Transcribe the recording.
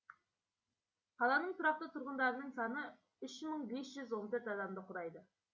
қаланың тұрақты тұрғындарының саны үш мың бес жүз он төрт адамды құрайды